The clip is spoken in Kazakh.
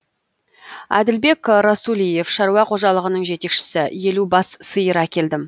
әділбек расулиев шаруа қожалығының жетекшісі елу бас сиыр әкелдім